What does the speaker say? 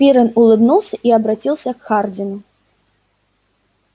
пиренн улыбнулся и обратился к хардину